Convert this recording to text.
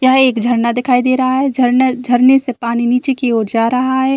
यहाँ एक झरना दिखाई दे रहा है। झरन झरने से पानी नीचे की ओर जा रहा है।